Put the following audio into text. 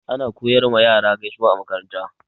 Ana koyar ma yara gaisuwa a makaranta.